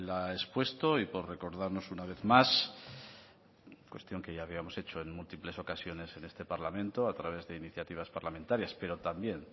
ha expuesto y por recordarnos una vez más cuestión que ya habíamos hecho en múltiples ocasiones en este parlamento a través de iniciativas parlamentarias pero también